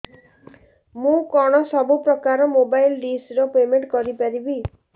ମୁ କଣ ସବୁ ପ୍ରକାର ର ମୋବାଇଲ୍ ଡିସ୍ ର ପେମେଣ୍ଟ କରି ପାରିବି